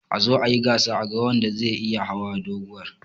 Azo ayi gasa a ga wanda zai iya hau doguwar.